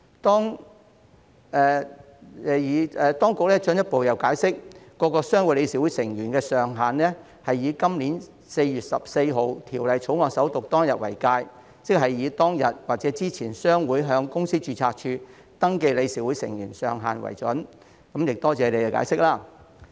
當局亦進一步解釋，各商會理事會成員人數上限是以今年4月14日《條例草案》首讀當天為界，即以商會在當天或之前向公司註冊處登記的理事會成員人數上限為準，多謝局方的解釋。